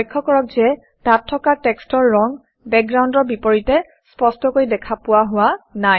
লক্ষ্য কৰক যে তাত থকা টেক্সটৰ ৰং বেকগ্ৰাউণ্ডৰ বিপৰীতে স্পষ্টকৈ দেখা পোৱা হোৱা নাই